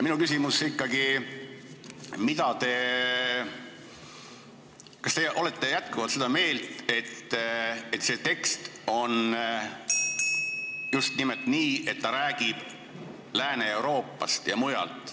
Minu küsimus on ikkagi, kas te olete jätkuvalt seda meelt, et see tekst räägib just nimelt Lääne-Euroopast ja muust.